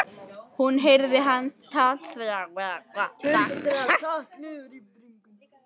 Hún heyrir að hann tuldrar takk niður í bringuna.